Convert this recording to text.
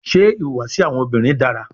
Ṣe ihuwasi awọn obinrin dara?